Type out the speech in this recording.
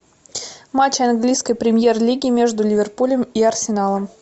матч английской премьер лиги между ливерпулем и арсеналом